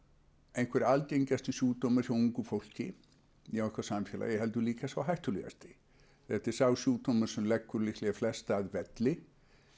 einhver algengasti sjúkdómurinn hjá ungu fólki í okkar samfélagi heldur líka sá hættulegasti þetta er sá sjúkdómur sem leggur líklega flesta að velli